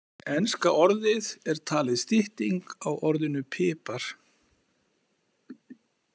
Enska orðið er talið stytting á orðinu pipar.